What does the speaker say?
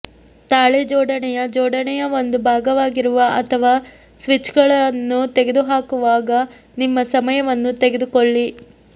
ತಾಳೆ ಜೋಡಣೆಯ ಜೋಡಣೆಯ ಒಂದು ಭಾಗವಾಗಿರುವ ಅಥವಾ ಸ್ವಿಚ್ಗಳನ್ನು ತೆಗೆದುಹಾಕುವಾಗ ನಿಮ್ಮ ಸಮಯವನ್ನು ತೆಗೆದುಕೊಳ್ಳಿ